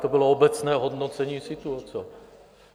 To bylo obecné hodnocení situace.